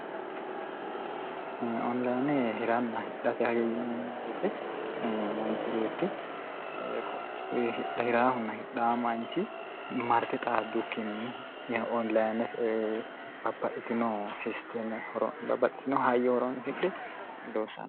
onlayinne hiranna hidhate hyo yinemibeete manchi beettihhirhn hidh manchi marti xaaddu kinni yinoolayine baahitino sisteeme babbaxxitino hayyo horoonzidhe luusano